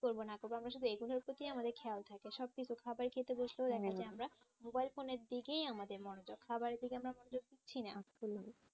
কি করবো না করবো আমরা শুধু এগুলোর প্রতিই আমাদের খেয়াল থাকে সব দিকেও খাবার খেতে বসলেও দেখা যায় আমরা mobile phone এর দিকেই আমাদের মনোযোগ খাবারের দিকে আমরা মনোযোগ দিচ্ছিনা